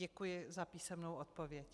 Děkuji za písemnou odpověď.